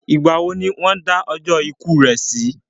Ìgbà wo ni wọ́n dá ọjọ́ ikú rẹ̀ sí?